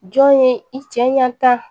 Jɔn ye i cɛ ɲa ta